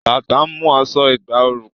Bàtà ń mú aṣọ ìgbà ooru pé